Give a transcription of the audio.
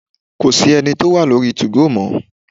Kò sí ẹni tí ó wà lóri 2go mọ́.